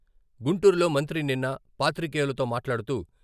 గుంటూరులో మంత్రి నిన్న పాత్రికేయులతో మాట్లాడుతూ....